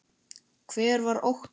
Hver var Óttar?